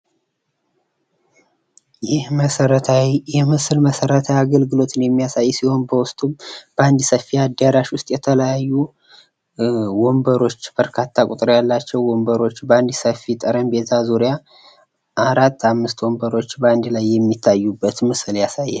ይህ ምስል መሰረታዊ አገልግሎትን የሚያሳይ ሲሆን በውስጡም በአንድ ሰፊ አዳራሽ ውስጥ የተለያዩ ወንበሮች በርካታ ቁጥር ያላቸው ወንበሮች በአንድ ሰፊ ጠረጴዛ ዙሪያ 4 5 ወንበሮች በ አንድ ላይ የሚታዩበትን ምስል ያሳያል።